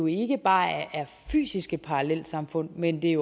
ikke bare er fysiske parallelsamfund men det